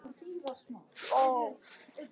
Hvernig fólki liði hér.